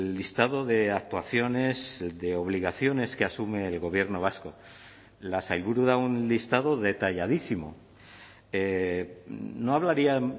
listado de actuaciones de obligaciones que asume el gobierno vasco la sailburu da un listado detalladísimo no hablarían